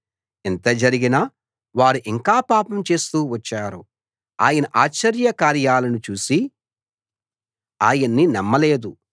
ఇంత జరిగినా వారు ఇంకా పాపం చేస్తూ వచ్చారు ఆయన ఆశ్చర్యకార్యాలను చూసి ఆయన్ని నమ్మలేదు